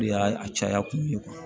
U y'a caya kun ye